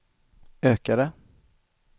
ökade